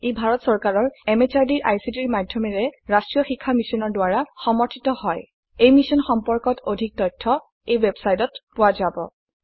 ই ভাৰত চৰকাৰৰ MHRDৰ ICTৰ মাধয়মেৰে ৰাস্ত্ৰীয় শিক্ষা মিছনৰ দ্ৱাৰা সমৰ্থিত হয় এই মিশ্যন সম্পৰ্কত অধিক তথ্য spoken hyphen tutorial dot org slash এনএমইআইচিত হাইফেন ইন্ট্ৰ ৱেবচাইটত পোৱা যাব